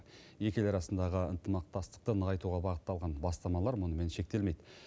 екі ел арасындағы ынтымақтастықты нығайтуға бағытталған бастамалар мұнымен шектелмейді